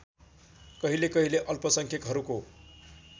कहिले कहिले अल्पसंख्यकहरूको